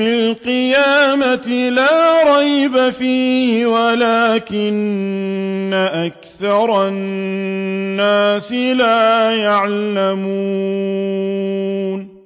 الْقِيَامَةِ لَا رَيْبَ فِيهِ وَلَٰكِنَّ أَكْثَرَ النَّاسِ لَا يَعْلَمُونَ